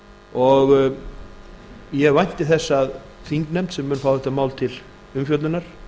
og ég vænti þess að þingnefnd sem mun fá þetta mál til umfjöllunar